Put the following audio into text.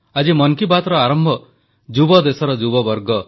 • ସଶସ୍ତ୍ର ସେନାବାହିନୀକୁ ସମ୍ମାନ ଜଣାଇବା ଲାଗି ପ୍ରତ୍ୟେକ ନାଗରିକ ଆଗେଇ ଆସନ୍ତୁ